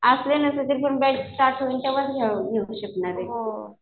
असले नसले तरी घेऊ शकणार आहे